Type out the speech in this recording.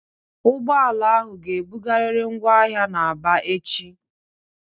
Ụgbọala ahụ ga-ebugarịrị ngwa ahịa na Aba echi!